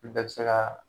Olu bɛɛ bɛ se ka